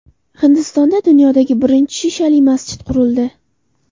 Hindistonda dunyodagi birinchi shishali masjid qurildi.